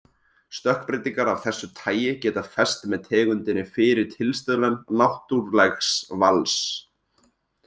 Stökkbreytingar af þessu tagi geta fest með tegundinni fyrir tilstuðlan náttúrlegs vals.